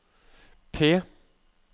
P